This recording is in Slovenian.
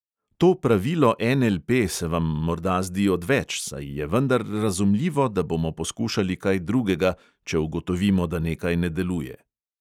To pravilo NLP se vam morda zdi odveč, saj je vendar razumljivo, da bomo poskušali kaj drugega, če ugotovimo, da nekaj ne deluje.